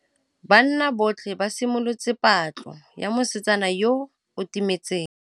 Banna botlhê ba simolotse patlô ya mosetsana yo o timetseng.